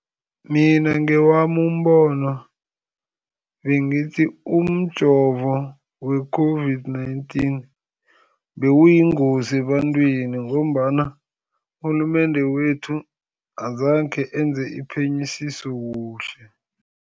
Mina ngewami umbono bengithi umjovo we-COVID-19, bewuyingozi ebantwini, ngombana urhulumende wethu azange enze iphenyisiso kuhle.